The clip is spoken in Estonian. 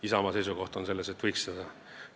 Isamaa seisukoht on, et seda võiks teha.